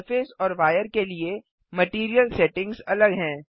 surface और wire के लिए मटैरियल सेटिंग्स अलग हैं